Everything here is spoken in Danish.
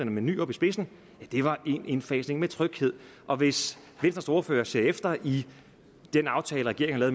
med nyrup i spidsen var en indfasning med tryghed og hvis venstres ordfører ser efter i den aftale regeringen har